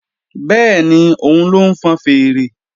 Bẹ́ẹ̀ni, òun ló ń fọn fèèrè